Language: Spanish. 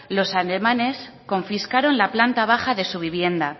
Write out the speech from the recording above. los alemanes confiscaron la planta baja de su vivienda